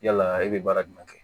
Yalaa e be baara jumɛn kɛ